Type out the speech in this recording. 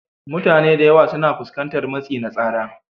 Mutane da yawa suna fuskantar matsi na tsara,